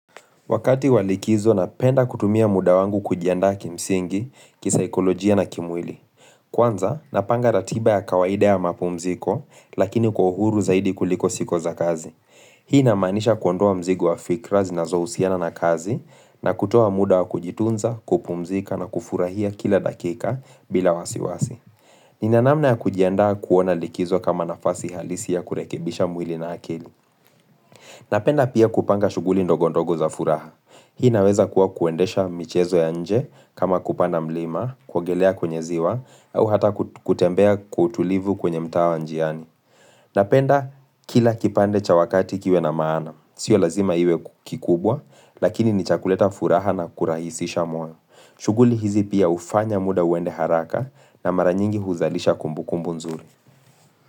Wakati wa likizo, napenda kutumia muda wangu kujiandaa kimsingi, kisaikolojia na kimwili. Kwanza, napanga ratiba ya kawaida ya mapumziko, lakini kwa uhuru zaidi kuliko siku za kazi. Hii inamaanisha kuondoa mzigo wa fikra zinazo husiana na kazi, na kutuoa muda wa kujitunza, kupumzika na kufurahia kila dakika bila wasiwasi. Ninanamna ya kujiendaa kuona likizo kama nafasi halisi ya kurekebisha mwili na akili. Napenda pia kupanga shughuli ndogo ndogo za furaha. Hii inaweza kuwa kuendesha michezo ya nje kama kupanda mlima, kuogelea kwenye ziwa, au hata kutembea kutulivu kwenye mtaa wa njiani. Napenda kila kipande cha wakati kiwe na maana. Sio lazima iwe kikubwa, lakini ni cha kuleta furaha na kurahisisha moyo. Shughuli hizi pia ufanya muda uende haraka na mara nyingi huzalisha kumbukumbu nzuri.